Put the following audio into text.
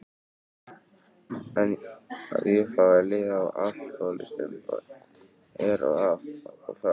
En að ég fái leiða á alkohólistum er af og frá.